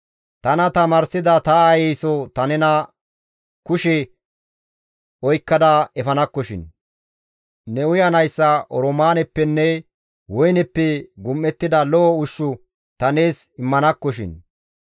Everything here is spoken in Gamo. Tana tamaarsida ta aayeyso ta ne kushe oykkada efanakkoshin; ne uyanaas oroomaaneppenne woyneppe gum7ettida lo7o ushshu ta nees immanakkoshin.